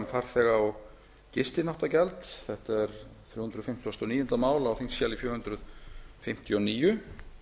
um farþega og gistináttagjald þetta er þrjú hundruð fimmtugasta og níunda mál á þingskjali fjögur hundruð fimmtíu og níu